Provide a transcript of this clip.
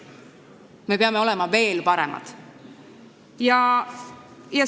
Me peame olema veel paremad.